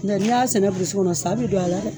N tɛ ni y'a sɛnɛ kɔnɔ sa bi don a la